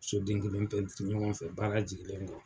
So den kelen pɛntiri ɲɔgɔn fɛ, baara jigilen kɔ.